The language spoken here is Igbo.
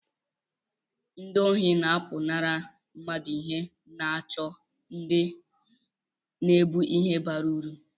ndị ohi na-apụnara mmadụ ihe na-àchọ ndị na-ébu ihe bara uru